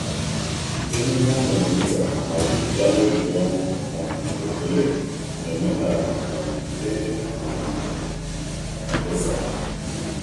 Emume ahụ di nta ma juputa na obiọma, um ekele, na omenala um e um kesara.